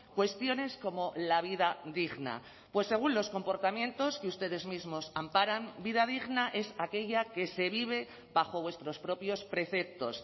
cuestiones como la vida digna pues según los comportamientos que ustedes mismos amparan vida digna es aquella que se vive bajo vuestros propios preceptos